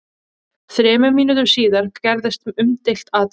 Þremur mínútum síðar gerðist umdeilt atvik.